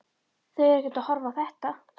Þau eru ekkert að horfa á þetta?